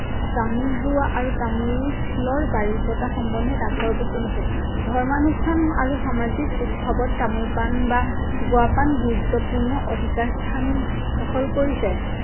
তামোল ৰোৱা আৰু তামোলৰ বাৰী পতা সম্বন্ধে ডাকৰ বচন আছে। ধৰ্মানুষ্ঠান আৰু সামাজিক উৎসৱত তামোল পাণ বা গুৱা পাণ গুৰুত্বপূৰ্ণ অধিকাৰ স্থান দখল কৰিছে।